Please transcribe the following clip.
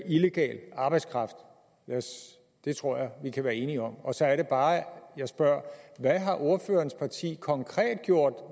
illegal arbejdskraft det tror jeg vi kan være enige om og så er det bare jeg spørger hvad har ordførerens parti konkret gjort